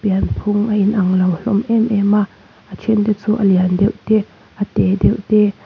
pianphung a inang lo hlawm êm êm a a ṭhente chu a lian deuh te a tê deuh te--